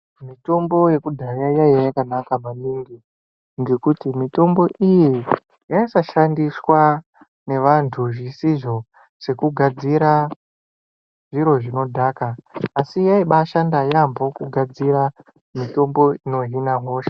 Mitombo yekudhaya yaiya yakanaka maningi, ngekuti mitombo iyi yaisashandiswa nevantu zvisizvo, sekugadzira zviro zvinodhaka asi yaibashanda yaemho kugadzira mitombo ino hina hosha.